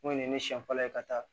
Mun ye ne siɲɛ fɔlɔ ye ka taa